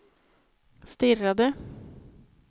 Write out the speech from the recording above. stirrade